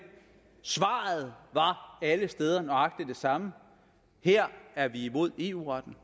svaret var alle steder nøjagtig det samme her er vi imod eu retten